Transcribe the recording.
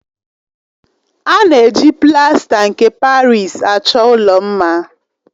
A na-eji plasta nke Parịsi achọ ụlọ mma.